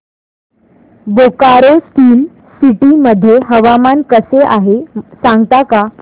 Bokaro steel city मध्ये हवामान कसे आहे सांगता का